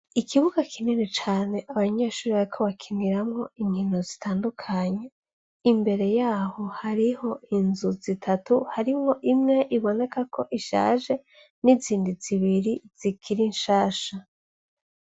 Ikibuga kinini cane abanyeshure bariko bakiniramwo inkino zitandukanye, imbere yaho hariho inzu zitatu. Harimwo imwe biboneka ko ishaje n'izindi zibiri zikiri nshasha.